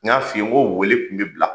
N y'a f'i ye n ko weele kun bɛ bila